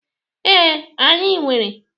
Ee, anyị nwere.